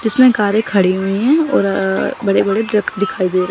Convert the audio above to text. जिसमें कारें खड़ी हुई हैं और बड़े बड़े ट्रक दिखाई दे--